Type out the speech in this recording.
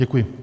Děkuji.